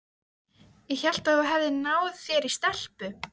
Ég hélt að þú hefðir náð þér í stelpu.